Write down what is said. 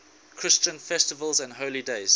christian festivals and holy days